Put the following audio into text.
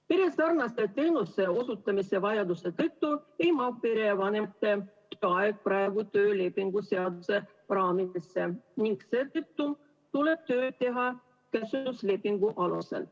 Peresarnaste teenuste osutamise vajaduse tõttu ei mahu perevanemate aeg praegu töölepingu seaduse raamidesse ning seetõttu tuleb tööd teha käsunduslepingu alusel.